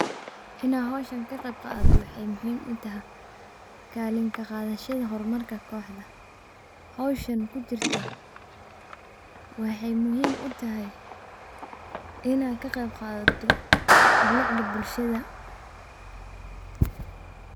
Inn ad howsha kaqeyb qadato wexey muhiim utahay kaalin kaqashada howshan, wexey muhiim utahay inn ad kaqeyb qadato bilicda bulshada.